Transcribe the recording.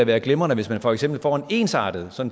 være glimrende hvis man for eksempel får en ensartet